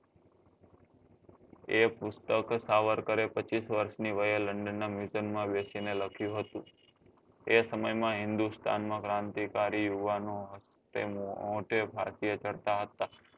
એ પુસ્તક સાવરકરે પચીસ વર્ષ ની વયે london નાં museum માં બેસી ને લખ્યું હતું એ સમય માં હિન્દુસ્તાન માં ક્રાંતિકારી હોવા નો હક તેમનો તે ભારતીય કરતા હતા